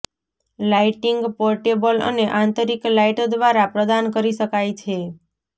lighting portable અને આંતરિક light દ્વારા પ્રદાન કરી શકાય છે